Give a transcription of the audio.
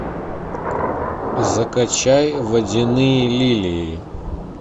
закачай водяные лилии